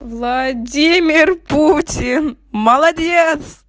владимир путин молодец